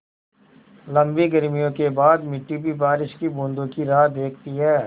लम्बी गर्मियों के बाद मिट्टी भी बारिश की बूँदों की राह देखती है